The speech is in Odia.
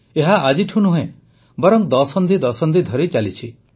ଏହା ଆଜିଠୁ ନୁହେଁ ବରଂ ଦଶନ୍ଧି ଦଶନ୍ଧି ଧରି ଚାଲିଥାଏ